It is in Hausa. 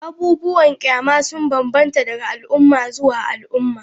Abubuwan kyama sun bambanta daga al'umma zuwa al'umma.